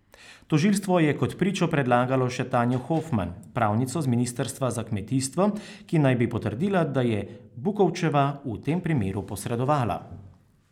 Tožilstvo je kot pričo predlagalo še Tanjo Hofman, pravnico z ministrstva za kmetijstvo, ki naj bi potrdila, da je Bukovčeva v tem primeru posredovala.